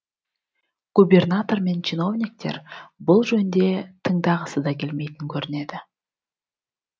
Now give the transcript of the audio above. губернатор мен чиновниктер бұл жөнде тыңдағысы да келмейтін көрінеді